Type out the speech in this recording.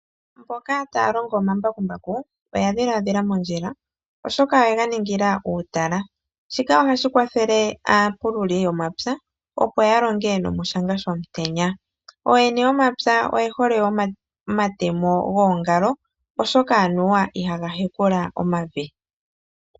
Mboka taalongo omambakumbaku oya dhiladhila mondjila oshoka oye ganingila uutala, shika ohashi kwathele aapululi yomapya opo yalonge nomoshanga shomutenya, ooyene yomapya oyehole omatemo goongalo oshoka aniwa ihaga hekula omavi.